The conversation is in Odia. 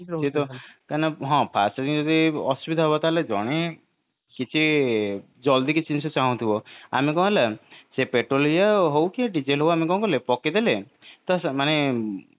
ହଁ first ରେ ଯଦି ଅସୁବିଧା ହବ ତାହେଲେ ଜଣେ କିଛି ଜଲଦି କିଛି ଜିନିଷ ଚାହୁଁଥିବ ଆମେ କଣ ହେଲା ସେ petrol ଇଏ ହଉ କି diesel ହଉ ଆମେ କଣ କଲେ ପକେଇଦେଲେ ତ ସେମାନେ ମାନେ